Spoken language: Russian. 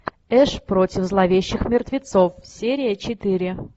эш против зловещих мертвецов серия четыре